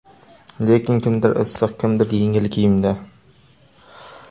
Lekin kimdir issiq, kimdir yengil kiyimda.